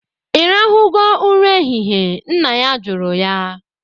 Ị rahụgo ụra ehihe? Nna ya jụrụ ya